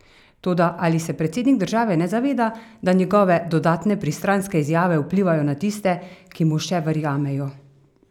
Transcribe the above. Toda ali se predsednik države ne zaveda, da njegove dodatne pristranske izjave vplivajo na tiste, ki mu še verjamejo?